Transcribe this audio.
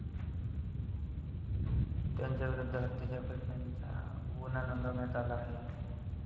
त्यांच्याविरुद्ध हत्येचा प्रयत्नाचा गुन्हा नोंदवण्यात आला आहे.